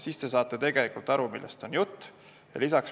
Siis saab aru, millest on jutt.